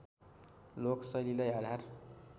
लोक शैलीलाई आधार